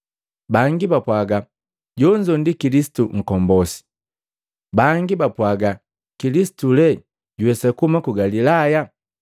Bangi bapwaga, “Jonzo ndi Kilisitu nkombosi.” Bangi bapwaga, “Kilisitu lee juwesa kuhuma ku Galilaya?